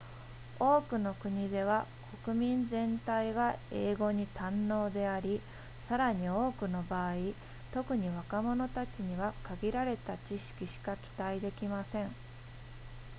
多くの国では国民全体が英語に堪能でありさらに多くの場合特に若者たちには限られた知識しか期待できません